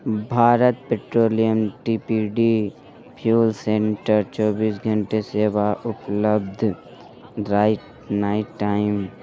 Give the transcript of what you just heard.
Bharat Petroleum T P D fuel centre चौबीस घंटे सेवा उपलब्ध राइट नाइट टाइम ---